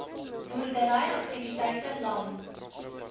boerdery aktiwiteite lang